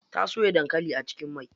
Ta soya dankali a cikin mai.